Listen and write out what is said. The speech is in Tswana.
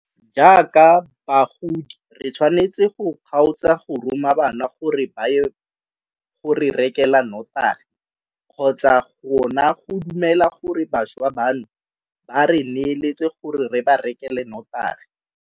Jaaka bagodi re tshwanetse go kgaotsa go roma bana gore ba ye go re rekela notagi kgotsa gona go dumela gore bašwa bano ba re neeletse gore re ba rekele notagi.